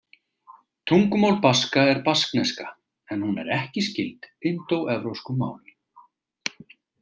Tungumál Baska er baskneska, en hún er ekki skyld indóevrópskum málum.